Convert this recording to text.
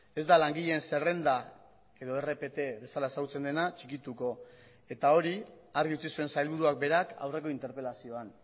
ez da langileen zerrenda edo rpt bezala ezagutzen dena txikituko eta hori argi utzi zuen sailburuak berak aurreko interpelazioan